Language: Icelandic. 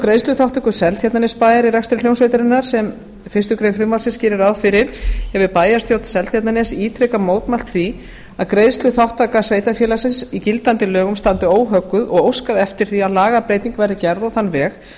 greiðsluþátttöku seltjarnarnesbæjar í rekstri hljómsveitarinnar sem fyrstu grein frumvarpsins gerir ráð fyrir hefur bæjarstjórn seltjarnarness ítrekað mótmælt því að greiðsluþátttaka sveitarfélagsins í gildandi lögum standi óhögguð og óskað eftir því að lagabreyting verði gerð á þann veg